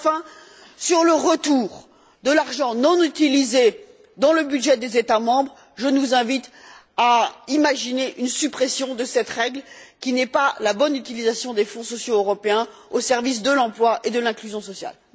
Et enfin, sur le retour de l'argent non utilisé dans le budget des États membres, je nous invite à imaginer une suppression de cette règle qui n'est pas la bonne utilisation des fonds sociaux européens au service de l'emploi et de l'inclusion sociale.